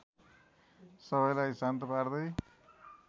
सबैलाई शान्त पार्दै